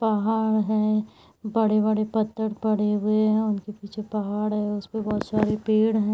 पहाड़ है। बड़े-बड़े पत्थर पड़े हुए है। उनके पीछे पहाड़ है उस पे बहोत सारी पेड़ है।